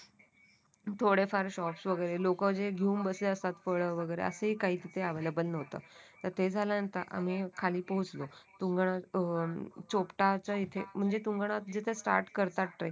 थोडेफार शॉप वगैरे लोक जे घेऊन बसले असतात फळ वगैरे असेही तिथं काही अवेल्ब्ल नव्हतं ते झाल्यानंतर आम्ही खाली पोहोचलो तुंगनाथ अह चोपटा च्या इथे म्हणजे तुंगनाथ जितेश स्टार्ट करतात ट्रेक